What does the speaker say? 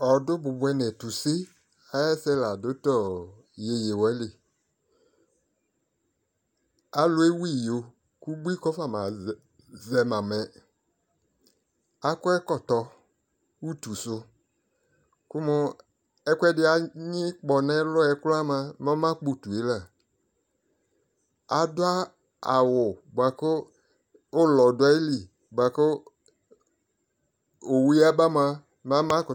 Ɔdʊ bʊbʊɛ nʊ ɛtʊse ayʊ ɛsɛ ladʊ tʊ iyeye walɩ alʊvewu iyo kʊ ʊbʊɩ kafama zɛmamɛ akɔ ɛkɔtɔ ʊtʊsʊ kʊmʊ ɛkʊɛdɩ anyi kpɔ nʊ ɛlʊ yɛ krʊa mʊa mɛ ɔmakpɔ utue la adu awʊ bʊa kʊ ʊlɔ dʊ ayili kʊ owu yaba mʊ mlɛ ɔmakʊtʊ mʊma